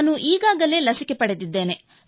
ನಾನು ಈಗಾಗಲೇ ಲಸಿಕೆ ಪಡೆದಿದ್ದೇನೆ